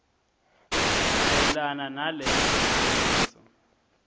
mayelana naleso naleso